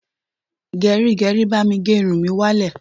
Gẹrígẹrí, bá mi gé irun mi wá lẹ̀.